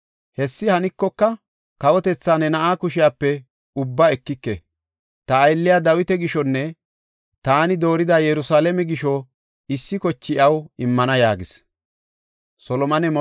Hessi hanikoka, kawotetha ne na7aa kushepe ubbaa ekike; ta aylliya Dawita gishonne taani doorida Yerusalaame gisho issi koche iyaw immana” yaagis.